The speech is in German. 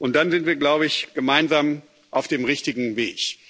Dann sind wir, glaube ich, gemeinsam auf dem richtigen Weg.